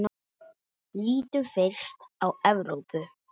Lítum fyrst á Evrópu.